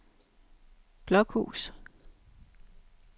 Blokhus